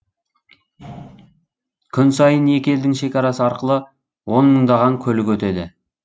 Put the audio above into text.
күн сайын екі елдің шекарасы арқылы он мыңдаған көлік өтеді